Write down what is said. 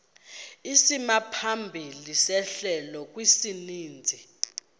isimaphambili sehlelo kwisininzi